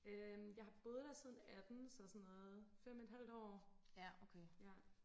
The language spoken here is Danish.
øhm jeg har boet der siden atten så sådan noget fem et halvt år ja